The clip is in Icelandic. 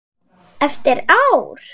Eftir ár?